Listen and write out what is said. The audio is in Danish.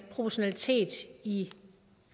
proportionalitet i